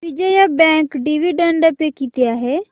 Vijaya bank dividend pay किती आहे